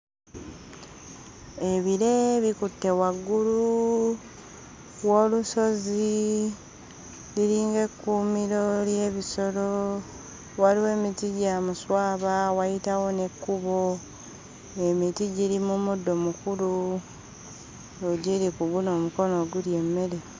Ebire bikutte waggulu w'olusozi liringa ekkuumiro ly'ebisolo waliwo emiti gya muswaba wayitawo n'ekkubo emiti giri mu muddo mukulu egiri ku guno omukono ogulya emmere.